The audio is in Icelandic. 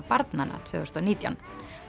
barnanna tvö þúsund og nítján